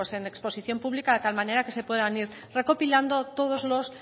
en exposición pública de tal manera que se puedan ir recopilando todos los